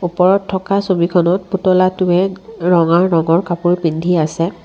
ওপৰত থকা ছবিখনত পুতলাটোৱে ৰঙা ৰঙৰ কাপোৰ পিন্ধি আছে।